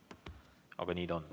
Aga nii ta on.